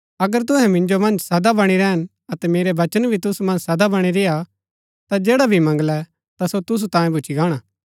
अगर तुहै मिन्जो मन्ज सदा बणी रैहन अतै मेरा वचन भी तुसु मन्ज सदा बणी रेय्आ ता जैडा भी मंगलै ता सो तुसु तांयें भूच्ची गाणा